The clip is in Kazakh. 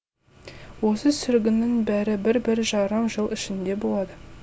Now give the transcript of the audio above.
осы сүргіннің бәрі бір бір жарым жыл ішінде болады